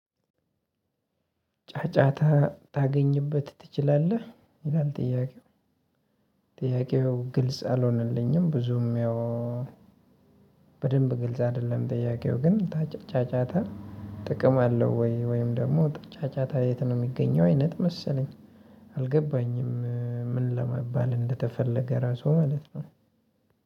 ጫጫታ ታገኝበት ትችላለህ ይላል ጥያቄው ጥያቄው ግልጽ አልሆነልኝም ብዙም ያው በደንብ ግልጽ አይደለም። ጥያቄው ግን ጫጫታ ጥቅም አለው ወይ ወይም ደግሞ ጫጫታ የት ነው የሚገኘው? አይነት መሰለኝ አልገባኝም። ምን ለመባል እንደተፈለገ ራሱ ማለት ነው?